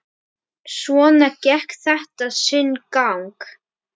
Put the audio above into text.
Svona gekk þetta sinn gang.